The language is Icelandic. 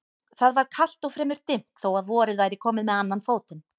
Það var kalt og fremur dimmt þó að vorið væri komið með annan fótinn.